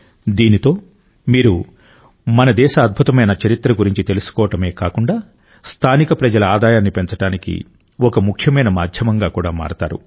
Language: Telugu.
దీనితో మీరు మన దేశ అద్భుతమైన చరిత్ర గురించి తెలుసుకోవడమే కాకుండా స్థానిక ప్రజల ఆదాయాన్ని పెంచడానికి ఒక ముఖ్యమైన మాధ్యమంగా కూడా మారతారు